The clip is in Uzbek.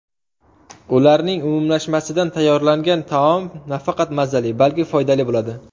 Ularning umumlashmasidan tayyorlangan taom nafaqat mazali, balki foydali bo‘ladi.